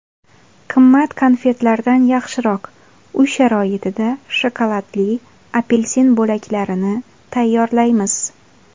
Qimmat konfetlardan yaxshiroq: Uy sharoitida shokoladli apelsin bo‘laklarini tayyorlaymiz.